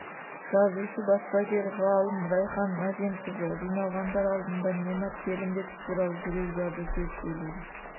жазушы баспагер ғалым райхан мәженқызы жиналғандар алдында немат келімбетов туралы жүрекжарды сөз сөйледі